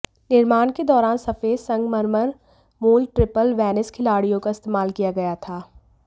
निर्माण के दौरान सफेद संगमरमर मूल ट्रिपल वेनिस खिड़कियों का इस्तेमाल किया गया था